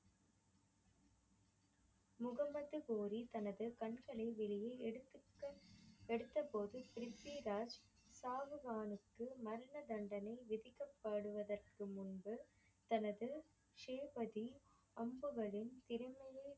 முஹம்மத் கோரி தனது கண்களை வெளியில் எடுத்திட்ட எடுத்த போது ப்ரித்விராஜ் சவ்ஹானுக்கு மரண தண்டனை விதிக்க படுவதற்கு முன்பு தனது ஷ்வேபதி அம்புகளின் திறமையை